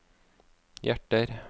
hjerter